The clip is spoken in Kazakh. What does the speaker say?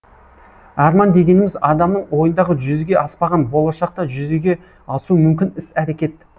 арман дегеніміз адамның ойындағы жүзеге аспаған болашақта жүзеге асуы мүмкін іс әрекет